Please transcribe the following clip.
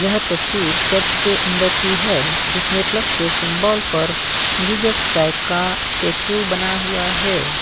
यह तस्वीर चर्च के अंदर की है। जिसमें प्लस के सिंबल पर जीसस क्राइस्ट का स्टेचू बना हुआ है।